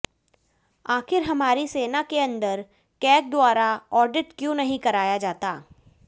आखिर हमारी सेना के अंदर कैग द्वारा आडिट क्यों नही कराया जाता